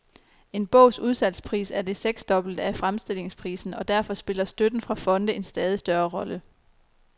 En bogs udsalgspris er det seksdobbelte af fremstillingsprisen, og derfor spiller støtten fra fonde en stadig større rolle.